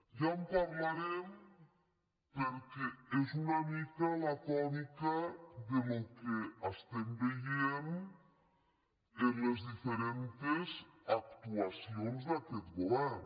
ja en parlarem perquè és una mica la tònica del que estem veient en les diferents actuacions d’aquest go·vern